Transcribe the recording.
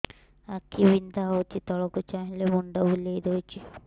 ଆଖି ବିନ୍ଧା ହଉଚି ତଳକୁ ଚାହିଁଲେ ମୁଣ୍ଡ ବୁଲେଇ ଦଉଛି